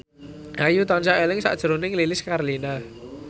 Ayu tansah eling sakjroning Lilis Karlina